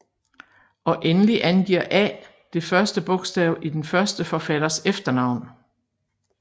Og endeligt angiver A det første bogstav i den første forfatters efternavn